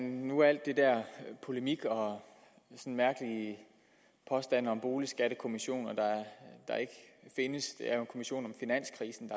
nu alt det der polemik og mærkelige påstande om en boligskattekommission der ikke findes det er jo en kommission om finanskrisen